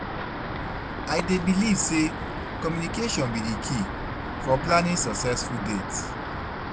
i dey believe say communication be di key for planning successful dates.